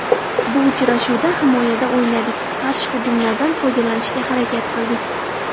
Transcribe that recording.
Bu uchrashuvda himoyada o‘ynadik, qarshi hujumlardan foydalanishga harakat qildik.